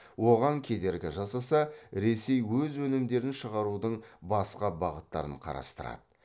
оған кедергі жасаса ресей өз өнімдерін шығарудың басқа бағыттарын қарастырады